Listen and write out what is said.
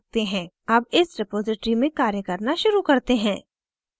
अब इस रिपॉज़िटरी में कार्य करना शुरू करते हैं